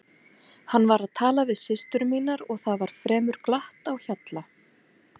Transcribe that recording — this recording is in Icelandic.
Hann var að tala við systur mínar og það var fremur glatt á hjalla.